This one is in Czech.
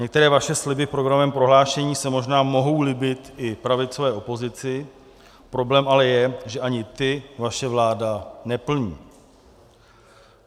Některé vaše sliby v programovém prohlášení se možná mohou líbit i pravicové opozici, problém ale je, že ani ty vaše vláda neplní.